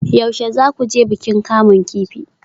Yaushe za ku je bikin kamun kifi?